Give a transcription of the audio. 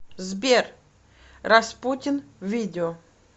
сбер распутин видео